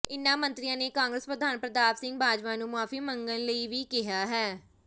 ਇਨ੍ਹਾਂ ਮੰਤਰੀਆਂ ਨੇ ਕਾਂਗਰਸ ਪ੍ਰਧਾਨ ਪ੍ਰਤਾਪ ਸਿੰਘ ਬਾਜਵਾ ਨੂੰ ਮੁਆਫ਼ੀ ਮੰਗਣ ਲਈ ਵੀ ਕਿਹਾ ਹੈ